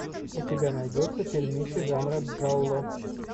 у тебя найдется фильмище жанра джалло